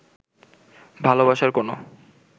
ভালোবাসার কোনো